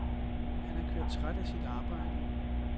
Han er kørt træt af sit arbejde.